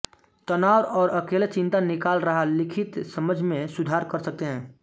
तनाव और अकेले चिंता निकाल रहा लिखित समझ में सुधार कर सकते हैं